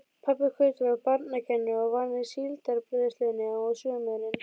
Pabbi Kötu var barnakennari og vann í Síldarbræðslunni á sumrin.